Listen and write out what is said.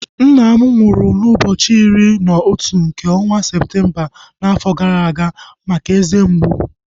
Nna m nwụrụ n'ụbọchị iri na otu nke ọnwa Septemba n'afọ gara aga maka eze mgbu